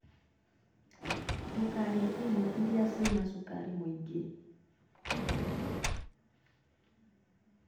Ndũkarĩe irio iria cina cukari mũingĩ.